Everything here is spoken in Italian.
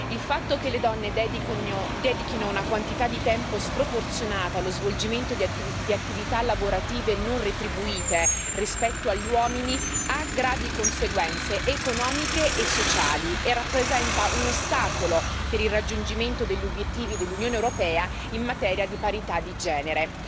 Il fatto che le donne dedichino una quantità di tempo sproporzionata allo svolgimento di attività lavorative non retribuite rispetto agli uomini ha gravi conseguenze economiche e sociali e rappresenta un ostacolo per il raggiungimento degli obiettivi dell'Unione europea in materia di parità di genere.